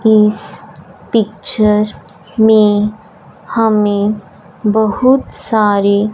इस पिक्चर में हमें बहुत सारे--